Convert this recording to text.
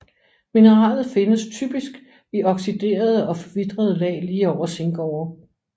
Mineralet findes typisk i oxiderede og forvitrede lag lige over zinkårer